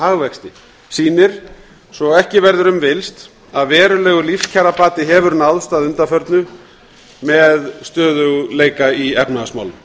hagvexti sýnir svo ekki verður um villst að verulegur lífskjarabati hefur náðst að undanförnu með stöðugleika í efnahagsmálum